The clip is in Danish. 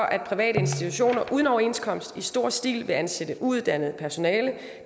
at private institutioner uden overenskomst i stor stil vil ansætte uuddannet personale